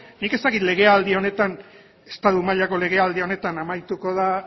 nik ez dakit legealdi honetan estatu mailako legealdi honetan amaituko da